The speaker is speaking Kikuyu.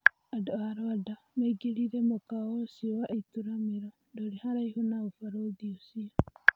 Andũa Rwanda maingĩrire mũkawa ũcio wa ituramĩro ndũrĩ haraihu na ũbarũthi ũcio.